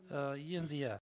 ы енді иә